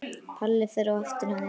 Palli fer á eftir henni.